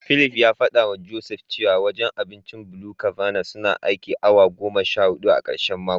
Philip ya fadawa Joseph cewa wajen abincin BluCabana suna aikin awa goma sha hudu a karshen mako.